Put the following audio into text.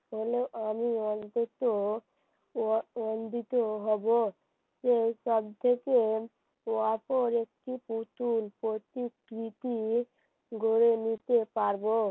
আমি অন্তত অন্তত হবো সে কাঁদতেছে তারপর একটি পুতুল প্রতিকৃতি গড়ে নিতে পারব